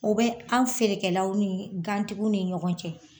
O bɛ anw feerekɛlaw ni gan tigiw ni ɲɔgɔn cɛ.